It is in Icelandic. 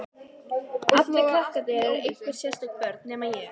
Allir krakkarnir eru einhver sérstök börn, nema ég.